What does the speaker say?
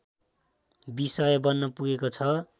विषय बन्न पुगेको छ